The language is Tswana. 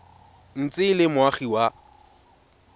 ntse e le moagi wa